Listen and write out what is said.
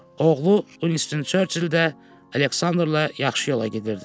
Oğlu Winston Churchill də Aleksandrla yaxşı yola gedirdi.